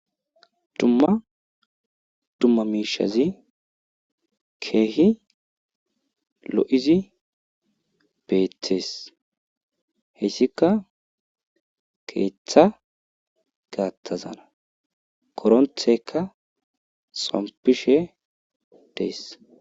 Dumma dumma mishazi Keehi lo'id betes, hesika keetha gathazana ,koronteyka xompishe Des.